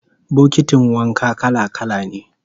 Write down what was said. Bokitin wanka kala-kala ne